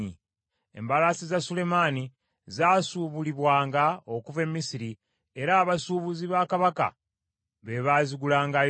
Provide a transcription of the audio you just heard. Embalaasi za Sulemaani zaasubulibwanga okuva e Misiri, era abasuubuzi ba kabaka be baazigulangayo.